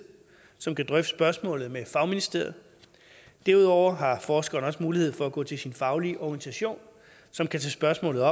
som kan drøfte spørgsmålet med fagministeriet derudover har forskere også mulighed for at gå til sin faglige organisation som kan tage spørgsmålet